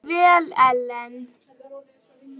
Þú stendur þig vel, Ellen!